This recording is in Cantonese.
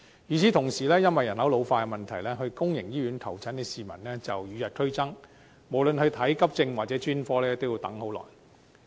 與此同時，因為人口老化問題，到公營醫院求診的市民與日俱增，無論看急症或專科都要等很久。